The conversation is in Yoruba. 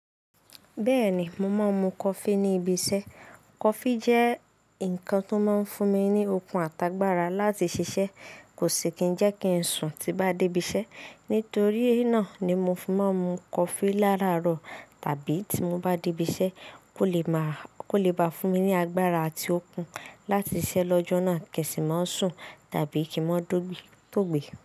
Bẹ́ẹ̀ni, mo máa ń mu coffee ní ibi iṣẹ́. Coffee jẹ́ nǹkan tó máa ń fún mi ní okun àtàgbàrà láti ṣiṣẹ́. Kò sì kí ń jẹ́ kí n sùn tí bá dé ibi iṣẹ́. Nítorí náà ni mo fi máa ń mu coffee láàárọ̀ tàbí tí mo bá dé ibi iṣẹ́ kó lè bá fún mi ní agbára àti okun láti ṣiṣẹ́ lọ́jọ́ náà kí ń sì má sùn tàbí kí n máa tó gbe.